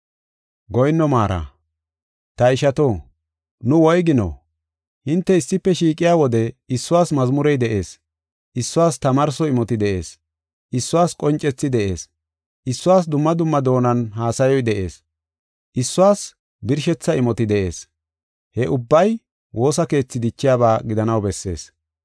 Ta ishato, nu woygino? Hinte issife shiiqiya wode issuwas mazmurey de7ees; issuwas tamaarso imoti de7ees; issuwas qoncethi de7ees; issuwas dumma dumma doonan haasayoy de7ees; issuwas birshetha imoti de7ees. He ubbay woosa keethi dichiyaba gidanaw bessees.